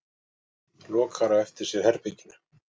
Lokar á eftir sér herberginu.